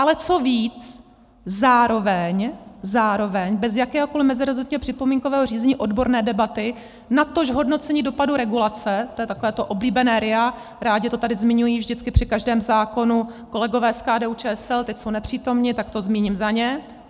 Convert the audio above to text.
Ale co víc, zároveň, zároveň bez jakéhokoli meziresortního připomínkového řízení odborné debaty, natož hodnocení dopadu regulace, to je takové to oblíbené RIA, rádi to tady zmiňují vždycky při každém zákonu kolegové z KDU-ČSL, teď jsou nepřítomni, tak to zmíním za ně.